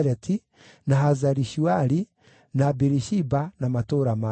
na Hazari-Shuali, na Biri-Shiba na matũũra marĩo;